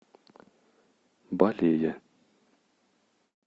балея